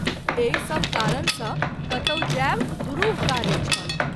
एहि सभ कारण सँ कतौ जाएब दुरूह कार्य छल।